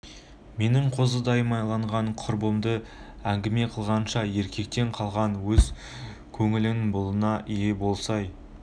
менің қозыдай майланған құйрығымды ңгіме қылғанша еркектен қалған өз кө ңнің былығына ие болсай